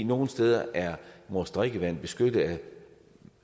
nogle steder er vores drikkevand beskyttet af